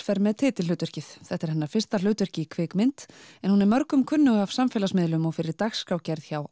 fer með titilhlutverkið þetta er hennar fyrsta hlutverk í kvikmynd en hún er mörgum kunnug af samfélagsmiðlum og fyrir dagskrárgerð hjá